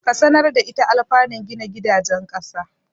Ka sanar da ita anlfanun gina gidajen ƙasa.